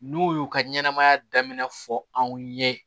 N'u y'u ka ɲɛnamaya daminɛ fɔ anw ye